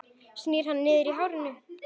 Snýr hana niður á hárinu.